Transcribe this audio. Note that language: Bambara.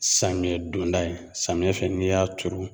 Samiya donda ye samiya fɛ n'i y'a turu